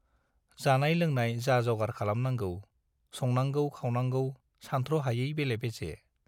जानाय लोंनाय जा-जगार खालामनांगौ, संनांगौ खावनांगौ सानथ्र'हायै बेले-बेजे।